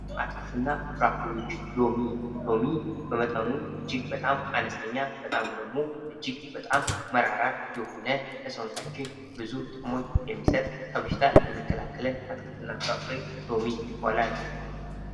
አትክልትና ፍራፍሬ ሎሚ በመጠኑ እጅግ በጣም አነስተኛ በጣሙ ደግሞ እጅግ በጣም መራር የሆነ ሰውነታችን እጅግ በጣም ብዙ ጥቅም የሚሰጥ ከበሽታ የሚከላከል አትክልትና ፍራፍሬ ሎሚ ይባላል።